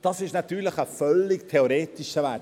Dies ist natürlich ein völlig theoretischer Wert;